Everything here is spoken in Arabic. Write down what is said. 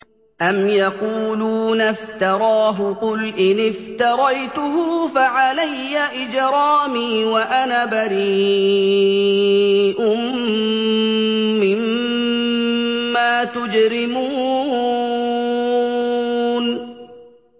أَمْ يَقُولُونَ افْتَرَاهُ ۖ قُلْ إِنِ افْتَرَيْتُهُ فَعَلَيَّ إِجْرَامِي وَأَنَا بَرِيءٌ مِّمَّا تُجْرِمُونَ